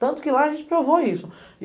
Tanto que lá a gente provou isso.